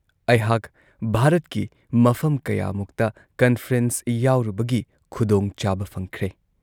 ꯑꯩꯍꯥꯛ ꯚꯥꯔꯠꯀꯤ ꯃꯐꯝ ꯀꯌꯥꯃꯨꯛꯇ ꯀꯟꯐ꯭ꯔꯦꯟꯁ ꯌꯥꯎꯔꯨꯕꯒꯤ ꯈꯨꯗꯣꯡꯆꯥꯕ ꯐꯪꯈ꯭ꯔꯦ ꯫